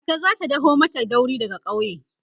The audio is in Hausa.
kaka zata daho mata dauri daga ƙauye